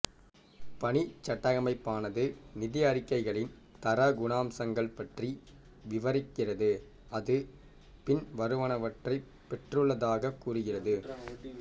பணிச்சட்டகமைப்பானது நிதி அறிக்கைகளின் தர குணாம்சங்கள் பற்றி விவரிக்கிறது அது பின்வருவனவற்றைப் பெற்றுள்ளதாகக் கூறுகிறது